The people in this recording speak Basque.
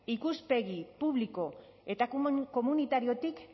ikuspegi publiko eta komunitariotik